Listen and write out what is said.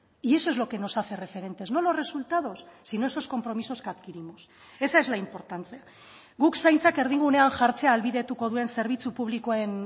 y eso es lo que nos hace referentes no los resultados sino esos compromisos que adquirimos esa es la importancia guk zaintzak erdigunean jartzea ahalbidetuko duen zerbitzu publikoen